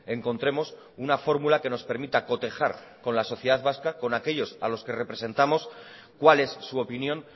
encontremos una fórmula que nos permita cotejar con la sociedad vasca con aquellos a los que representamos cuál es su opinión